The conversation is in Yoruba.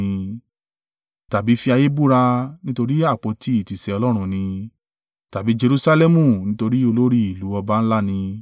Tàbí fi ayé búra, nítorí àpótí ìtìsẹ̀ Ọlọ́run ni; tàbí Jerusalẹmu, nítorí olórí ìlú ọba ńlá ni.